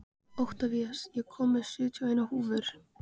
Oktavías, ég kom með sjötíu og eina húfur!